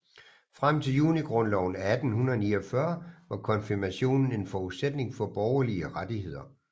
Frem til Junigrundloven af 1849 var konfirmationen en forudsætning for borgerlige rettigheder